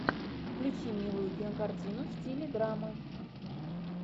включи милую кинокартину в стиле драма